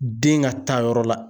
Den ka taa yɔrɔ la.